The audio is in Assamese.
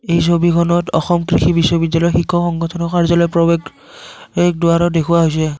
এই ছবিখনত অসম কৃষি বিশ্ববিদ্যাল়য়ৰ শিক্ষক সংগঠনৰ কাৰ্য্যালয়ৰ প্ৰবেশ এক দুৱাৰো দেখুওৱা হৈছে।